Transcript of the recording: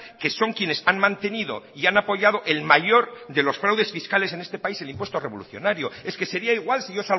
que son quienes han mantenido y han apoyado el mayor de los fraudes fiscales en este país el impuesto revolucionario es que sería igual si yo